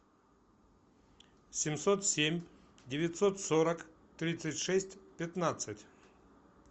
семьсот семь девятьсот сорок тридцать шесть пятнадцать